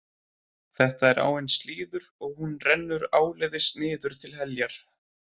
Þetta er áin Slíður og hún rennur áleiðis niður til Heljar.